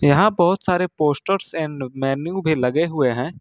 यहां बहुत सारे पोस्टर्स एंड मेनू भी लगे हुए हैं।